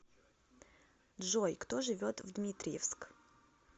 джой кто живет в дмитриевск